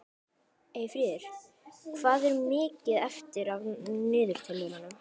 Hver þáttur af Ha? skiptist upp í þrjú hólf.